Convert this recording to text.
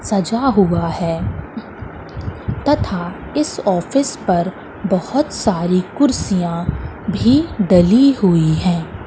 सजा हुआ हैं तथा इस ऑफिस पर बहोत सारी कुर्सियाँ भीं डली हुई हैं।